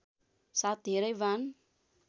साथ धेरै वाण